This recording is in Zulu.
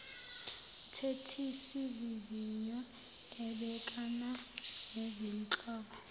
mthethisivivinywa ubhekana nezinhlobo